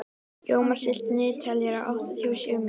Jómar, stilltu niðurteljara á áttatíu og sjö mínútur.